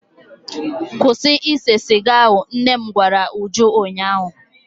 Kwụsị ise siga ahụ! nnem gwara Uju ụnyahụ.